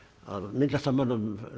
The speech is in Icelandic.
myndlistarmönnum